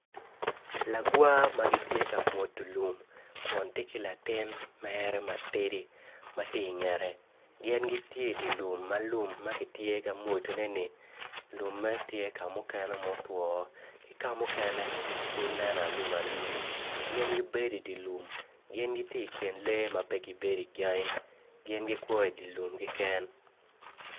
Lagwa ma gitye ka mwudo lum Kun to ki latin mere matidi ti ka ngette gin giti idi lum ma lum ma giti I ka mwudone- ni lumme tye ka mukene ma otwoo ki ka mukene pud nen alum alum gin gubedo idi lum gin giti I kin lee ma pe gibedo I gangi gin gikwo I di lum keken